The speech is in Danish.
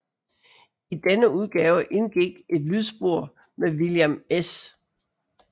I denne udgave indgik et lydspor med William S